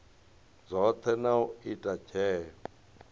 dzothe na u ita tsheo